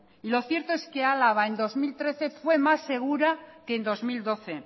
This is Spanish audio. lo cierto es que álava en dos mil trece fue más segura que en dos mil doce